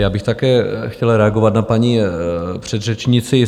Já bych také chtěl reagovat na paní předřečníci.